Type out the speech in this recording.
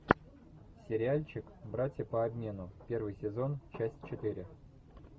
сериальчик братья по обмену первый сезон часть четыре